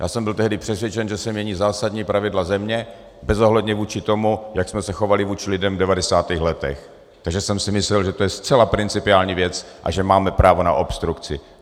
Já jsem byl tehdy přesvědčen, že se mění zásadní pravidla země bezohledně vůči tomu, jak jsme se chovali vůči lidem v 90. letech, takže jsem si myslel, že to je zcela principiální věc a že máme právo na obstrukci.